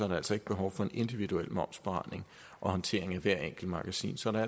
der altså ikke behov for en individuel momsafregning og håndtering af hvert enkelt magasin så der